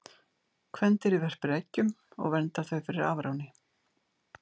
Kvendýrið verpir eggjum og verndar þau fyrir afráni.